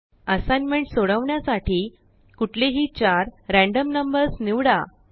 असाइग्नमेंटसोडवण्यासाठी कुठलेही चार रयाण्डम नंबर्सनिवडा